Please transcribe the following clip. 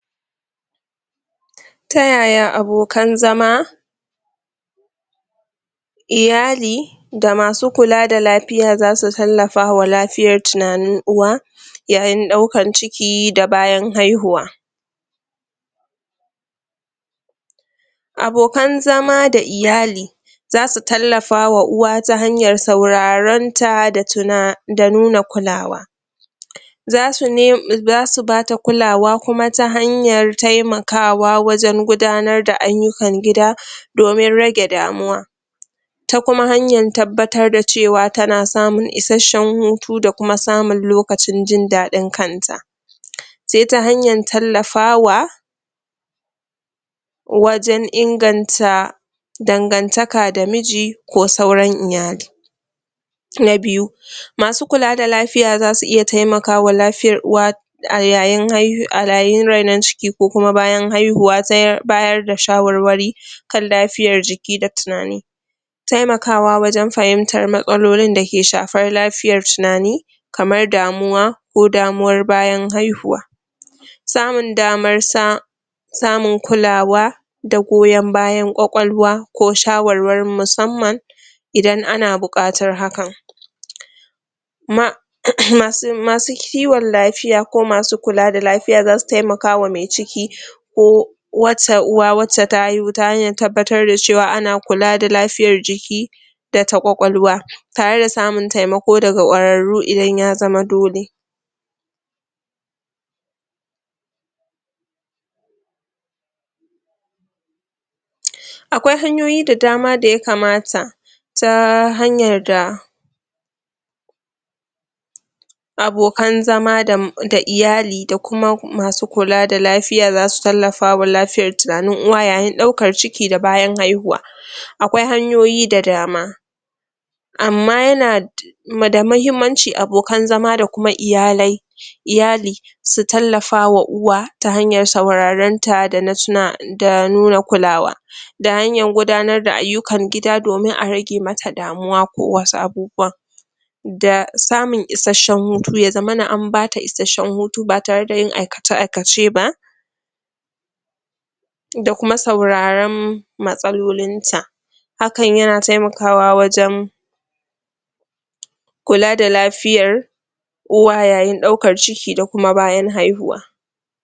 Ta yaya abokan zama iyali da masu kula da lafiya za su tallafa wa lafiyar tunanin uwa, ya yin ɗaukar ciki da bayan haihuwa? Abokan zama da iyali za su tallafa wa uwa ta hanyar sauraron ta da nuna kulawa. za su ba ta kulawa kuma ta hanyar taimakawa wajen giudanar da ayyukan gida domin rage damuwa. Ta kuma hanyar tabbatar da cewa tana samun isashshen hutu da kuma samun lokacin jin daɗin kanta. sai ta hanyar tallafawa wajen inganta dangantaka da miji ko sauran iyali. na biyu masu kula da lafiya za su iya taimakwa lafiyar uwa. da a ya yin rainon ciki ko bayan haihuwa. ta bayar da shawarwari kan lafiyar jiki da tunani. taimakawa wajen fahimtar matsalolin da ke shafar lafiyar tunani kamar damuwa ko damuwar bayan haihuwa samun damar sa samun kulawa da goyon bayan ƙwaƙwalwa ko shawarwarin musamman idan ana buƙatar hakan. masu kiwon lafiya ko masu kula da lafiya za su taimaka wa mai ciki wata uwa wacce ta haihu ta hanyar tabbatar da cewa ana kula da lafiyar jiki da ta ƙwaƙwalwa. tare da samun taimako daga ƙwararru idan ya zama dole. akwai hanyiyi da dama da ya kamata ta hanyar da abokan zama da iyali da kuma masu kula da lafiya za su tallafawa lafiyar tunanin uwa yayin ɗaukar ciki da bayan haihuwa. akwai hanyoyi da dama amma yana da da muhimmanci abokan zama da kuma iyalai iyali su tallafa wa uwa ta hanyar saurarenta da nuna kulawa. da hanyar gudanar da ayyukan gida domin a rage mata damuwa ko wasu abubuwan. da samun isasshen hutu ya zmana an ba ta isasshen hutu ba tare da yin aikace-aikace ba. da kuma sauraren matsalolinta hakan yana taimakawa wajen kula da lafiyar uwa yayin ɗaukar ciki da kuma bayan haihuwa.